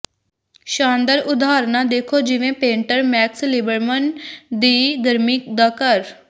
ਸ਼ਾਨਦਾਰ ਉਦਾਹਰਣਾਂ ਦੇਖੋ ਜਿਵੇਂ ਪੇਂਟਰ ਮੈਕਸ ਲਿਬਰਮਨ ਦੀ ਗਰਮੀ ਦਾ ਘਰ